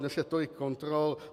Dnes je tolik kontrol.